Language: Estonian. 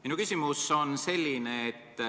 Minu küsimus on selline.